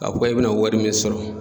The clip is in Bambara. K'a fɔ e bina wari min sɔrɔ